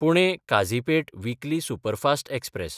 पुणे–काझिपेट weekly superfast express